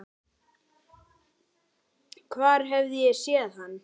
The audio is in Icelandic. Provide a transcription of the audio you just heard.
Hvar hef ég séð hann?